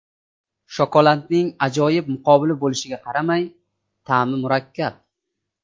Shokoladning ajoyib muqobili bo‘lishiga qaramay, ta’mi murakkab.